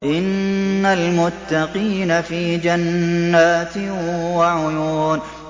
إِنَّ الْمُتَّقِينَ فِي جَنَّاتٍ وَعُيُونٍ